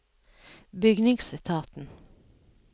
bygningsetaten